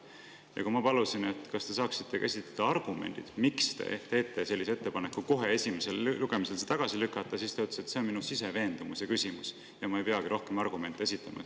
Ja kui ma palusin tal käsitleda argumente, miks ta teeb ettepaneku see kohe esimesel lugemisel tagasi lükata, siis ta ütles, et see on tema siseveendumuse küsimus ja ta ei peagi rohkem argumente esitama.